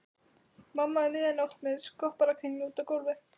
Mamma um miðja nótt með skopparakringlu úti á gólfi.